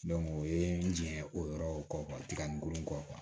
o ye n jɛn o yɔrɔ kɔ tiga n ko n kɔ